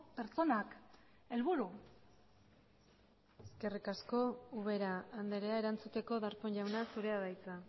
pertsonak helburu eskerrik asko ubera andrea erantzuteko darpón jauna zurea da hitza